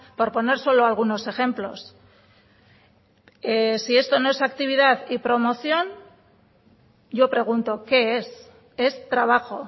por poner solo algunos ejemplos si esto no es actividad y promoción yo pregunto qué es es trabajo